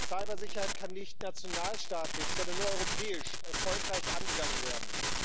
Cybersicherheit kann nicht nationalstaatlich, sondern nur europäisch erfolgreich angegangen werden.